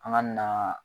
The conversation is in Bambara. An ka na